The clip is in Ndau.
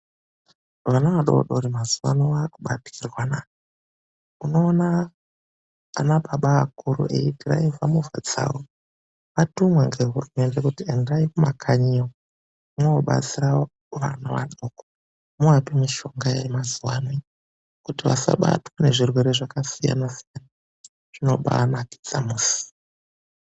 Vana vadodori mazuwano vakubatikirwana. Unoona anababa akuru eidhiraivha movha dzawo, atumwa nehurumende kuti endai kumakanyiyo mobatsira vana vadoko, moape mishonga yamazuva anaaya, kuti vasabatwe nezvirwere zyakasiyana siyana. Zvinombaanakidza musi.